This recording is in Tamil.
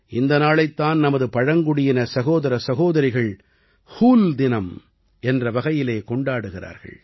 இந்த நாளைத் தான் நமது பழங்குடியின சகோதர சகோதரிகள் ஹூல் தினம் என்ற வகையிலே கொண்டாடுகிறார்கள்